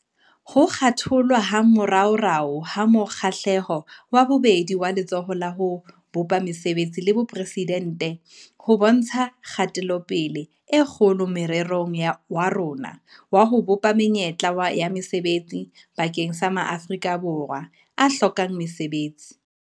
Ho thakgolwa ha moraorao ha mo kgahlelo wa bobedi waLetsholo la ho Bopa Mesebetsi la Boporeside nte ho bontsha kgatelopele e kgolo morerong wa rona wa ho bopa menyetla ya mesebetsi bakeng sa ma Afrika Borwa a hlokang mosebetsi.